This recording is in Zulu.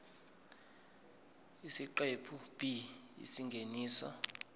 isiqephu b isingeniso